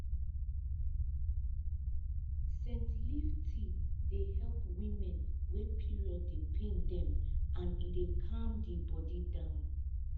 scent leaf tea dey help women wey period dey pain dem and e dey calm di body down